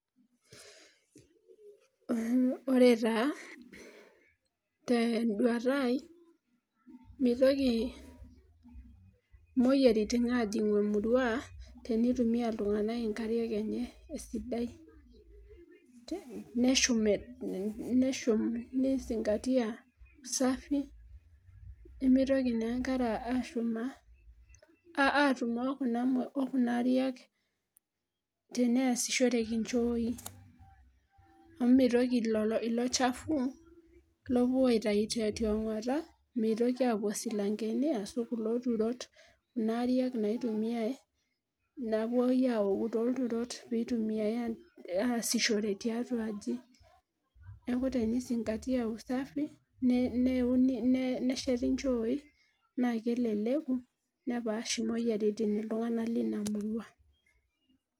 ore taa te duata aii mitoki imoyiaritin aajing emurua teneitumia iltunganak inkariak enye esidai, neshum nizingatia[ usafi nemeitoki naa enkare ashum okuna ariak teneesishoreki nchooi, amu meitoki ilo shafu lopuo aaitayu tiong'ota, meitoki aapuo silankeni ahu kulo turot. kuna ariak naaitumiae, napuoi aoku tooltururot pee eitumiae tiatua aji. neeku teni zingatia usafi nesheti nchooyi naa keleleku nepaash imoyiaritin iltunganak leina murua.